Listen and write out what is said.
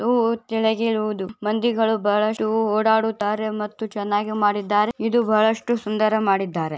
ದು ಕೆಳಗಿರುವುದು ಮಂದಿಗಳು ಬಹಳಷ್ಟು ಓಡಾಡುತಾರೆ ಮತ್ತು ಚೆನ್ನಾಗಿ ಮಾಡಿದ್ದಾರೆ ಇದು ಬಹಳಷ್ಟು ಸುಂದರ ಮಾಡಿದ್ದಾರೆ.